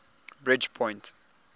bridgepoint